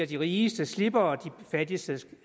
de rigeste slipper og at de fattigste